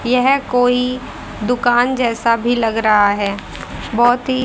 यह कोई दुकान जैसा भी लग रहा है बहुत ही--